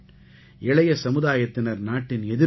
இளைய சமுதாயத்தினர் நாட்டின் எதிர்காலம்